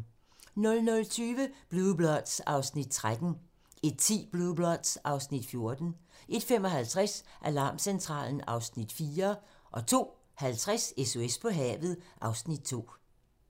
00:20: Blue Bloods (Afs. 13) 01:10: Blue Bloods (Afs. 14) 01:55: Alarmcentralen (Afs. 4) 02:50: SOS på havet (Afs. 2)